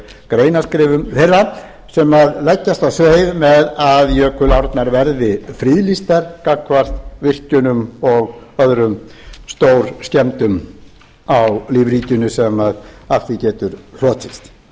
greinaskrifum þeirra sem leggjast á sveif með að jökulárnar verði friðlýstar gagnvart virkjunum og öðrum stórskemmdum á lífríkinu sem af því getur hlotist